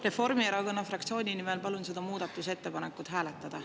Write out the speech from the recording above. Reformierakonna fraktsiooni nimel palun seda muudatusettepanekut hääletada.